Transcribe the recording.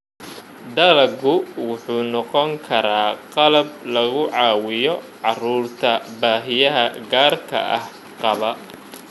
Dalaggu wuxuu noqon karaa qalab lagu caawiyo carruurta baahiyaha gaarka ah qaba.